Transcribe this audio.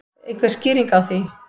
Einhver skýring á því?